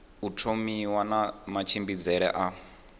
u thomiwa na matshimbidzele a